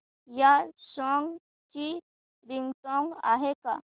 या सॉन्ग ची रिंगटोन आहे का